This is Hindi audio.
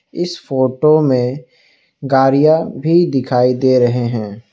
इस फोटो में गाड़ियां भी दिखाई दे रहे हैं।